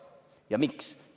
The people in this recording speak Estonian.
Ja miks?